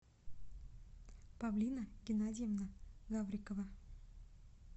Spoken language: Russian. павлина геннадьевна гаврикова